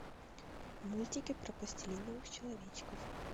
мультики про пластилиновых человечков